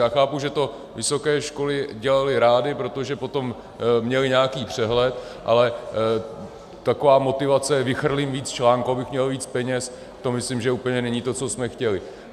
Já chápu, že to vysoké školy dělaly rády, protože potom měly nějaký přehled, ale taková motivace vychrlit víc článků, abych měl víc peněz, to myslím, že úplně není to, co jsme chtěli.